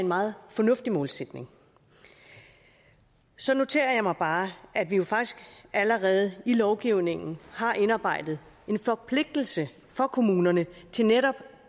meget fornuftig målsætning så noterer jeg mig bare at vi jo faktisk allerede i lovgivningen har indarbejdet en forpligtelse for kommunerne til netop